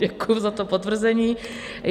Děkuji za to potvrzení.